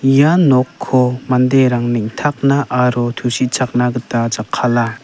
ia nokko manderang neng·takna aro tusichakna gita jakkala.